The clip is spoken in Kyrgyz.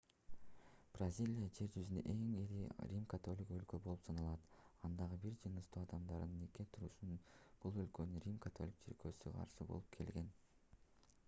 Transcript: бразилия жер жүзүндөгү эң ири рим-католиктик өлкө болуп саналат андагы бир жыныстуу адамдардын никеге турушуна бул өлкөнүн рим-католиктик чиркөөсү каршы болуп келген